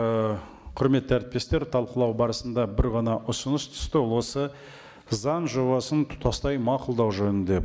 ы құрметті әріптестер талқылау барысында бір ғана ұсыныс түсті ол осы заң жобасын тұтастай мақұлдау жөнінде